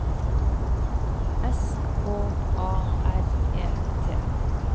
S K A R E T